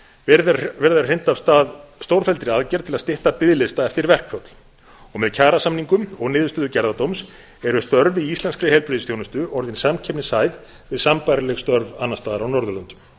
verið er að hrinda af stað stórfelldri aðgerð til að stytta biðlista eftir verkföll með kjarasamningum og niðurstöðu gerðardóms eru störf í íslenskri heilbrigðisþjónustu orðin samkeppnishæf við sambærileg störf annars staðar á norðurlöndum